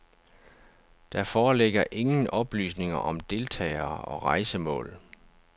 Der foreligger ingen oplysninger om deltagere og rejsemål.